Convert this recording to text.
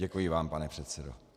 Děkuji vám, pane předsedo.